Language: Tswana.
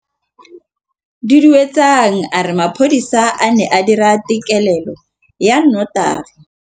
Duduetsang a re mapodisa a ne a dira têkêlêlô ya nnotagi.